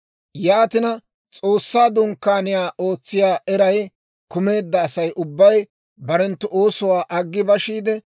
Yaatina S'oossaa Dunkkaaniyaa ootsiyaa eray kumeedda Asay ubbay barenttu oosuwaa aggi bashiide,